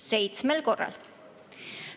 Seitsmel korral.